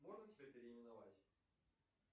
можно тебя переименовать